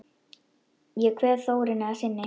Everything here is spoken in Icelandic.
Ég kveð Þórunni að sinni.